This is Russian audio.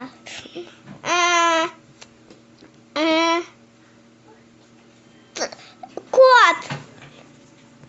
кот